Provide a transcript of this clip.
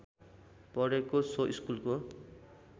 पढेर सो स्कुलको